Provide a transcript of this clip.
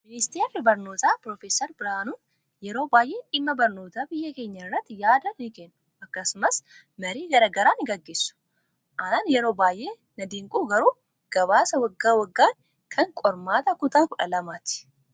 Ministeerri barnootaa piroofeesar Biraanuun yeroo baay'ee dhimma barnoota biyya keenyaa irratti yaada ni kennu akkasumas marii garaagaraa ni gaggeessu. Anaan yeroo baay'ee na dinqu garuu gabaasa waggaa waggaanii kan qormaata kutaa 12ti.